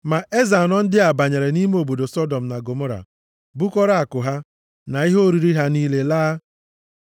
Ma eze anọ ndị a banyere nʼime obodo Sọdọm na Gọmọra bukọrọ akụ ha, na ihe oriri ha niile laa.